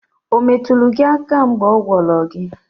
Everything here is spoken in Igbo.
Ometulu gi aka mgeb ogworo gi?